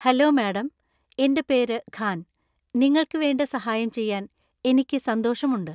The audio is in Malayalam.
ഹലോ മാഡം, എന്‍റെ പേര് ഖാൻ, നിങ്ങൾക്ക് വേണ്ട സഹായം ചെയ്യാൻ എനിക്ക് സന്തോഷമുണ്ട്.